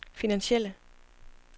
finansielle